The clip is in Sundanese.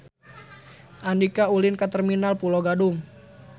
Andika ulin ka Terminal Pulo Gadung